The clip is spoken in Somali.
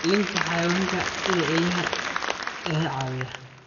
Ilaalinta Xayawaanka sida eeyaha ayaa caawiya.